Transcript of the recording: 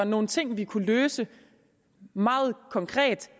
nogle ting vi kunne løse meget konkret